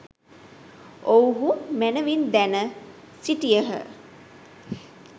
ඔවුහූ මැනවින් දැන සිටියහ.